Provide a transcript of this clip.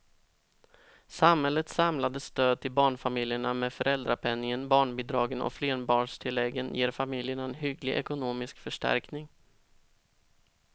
Samhällets samlade stöd till barnfamiljerna med föräldrapenningen, barnbidragen och flerbarnstilläggen ger familjerna en hygglig ekonomisk förstärkning.